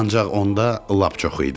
ancaq onda lap çox idi.